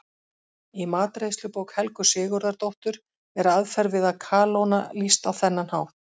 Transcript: Í matreiðslubók Helgu Sigurðardóttur er aðferð við að kalóna lýst á þennan hátt: